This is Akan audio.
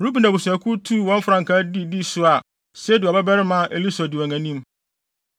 Ruben abusuakuw tuu wɔn frankaa de dii so a Sedeur babarima Elisur di wɔn anim.